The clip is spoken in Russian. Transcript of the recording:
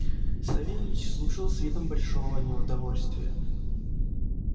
савельич слушал с видом большого неудовольствия